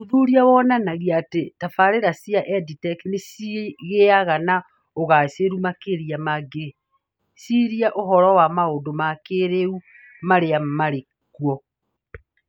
Ũthuthuria wonanagia atĩ tabarĩra cia EdTech nĩ cigĩaga na ũgaacĩru makĩria mangĩciria ũhoro wa maũndũ ma kĩĩrĩu marĩa marĩ kuo.